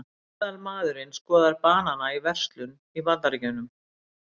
Meðalmaðurinn skoðar banana í verslun í Bandaríkjunum.